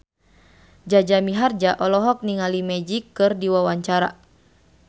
Jaja Mihardja olohok ningali Magic keur diwawancara